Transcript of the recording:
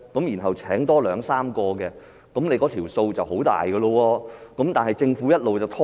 如果聘請了兩三個人員，那數目便很大了，但政府一直拖延。